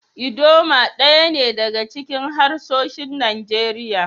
Idoma daya ne daga cikin harsunan Najeriya.